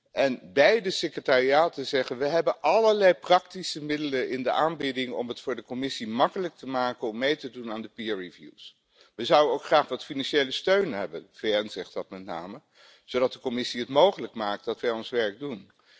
En beide secretariaten zeggen we hebben allerlei praktische middelen in de aanbieding om het voor de Commissie makkelijk te maken om mee te doen aan de peer reviews We zouden ook graag wat financiële steun hebben de VN zegt dat met name zodat de Commissie het mogelijk maakt dat wij ons werk doen.